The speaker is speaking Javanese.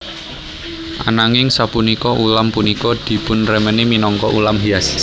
Ananging sapunika ulam punika dipunremeni minangka ulam hias